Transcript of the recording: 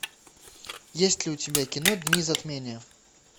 есть ли у тебя кино дни затмения